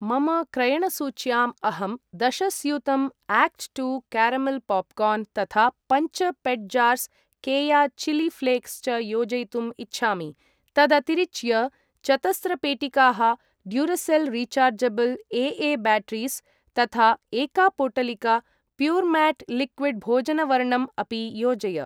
मम क्रयणसूच्याम् अहं दश स्यूतं आक्ट् टु कारमेल् पाप्कार्न् तथा पञ्च pet jars Keya chilli flakes च योजयितुम् इच्छामि। तदतिरिच्य चतस्र पेटिकाः ड्यूरसेल् रीचार्जबल् ए.ए.ब्याटेरीस् तथा एका पोटलिका प्यूरमेट् लिक्विड् भोजनवर्णं अपि योजय।